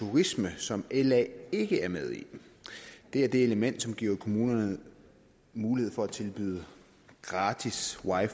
turisme som la ikke er med i det er det element som giver kommunerne mulighed for at tilbyde gratis wi